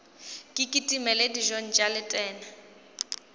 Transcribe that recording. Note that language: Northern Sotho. ke kitimele dijong tša letena